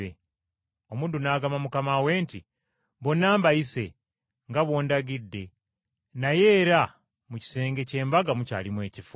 “Omuddu n’agamba mukama we nti, ‘Bonna mbayise nga bw’ondagidde, naye era mu kisenge ky’embaga mukyalimu ebifo.’